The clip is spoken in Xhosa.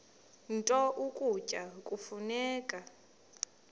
nto ukutya kufuneka